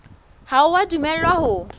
ha o a dumellwa ho